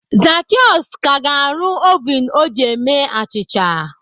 Zacheaus ka ga-arụ ovun o ji eme achịcha